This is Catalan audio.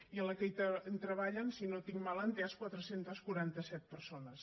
i en la que hi treballen si no ho tinc malentès quatre cents i quaranta set persones